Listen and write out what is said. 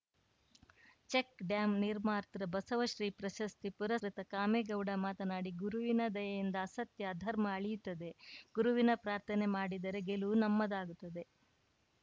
check dam ನಿರ್ಮಾತೃ ಬಸವ ಶ್ರೀ ಪ್ರಶಸ್ತಿ ಪುರಸ್ಕೃತ ಕಾಮೇಗೌಡ ಮಾತನಾಡಿ ಗುರುವಿನ ದಯೆಯಿಂದ ಅಸತ್ಯ ಅಧರ್ಮ ಅಳಿಯುತ್ತದೆ ಗುರುವಿನ ಪ್ರಾರ್ಥನೆ ಮಾಡಿದರೆ ಗೆಲುವು ನಮ್ಮದಾಗುತ್ತದೆ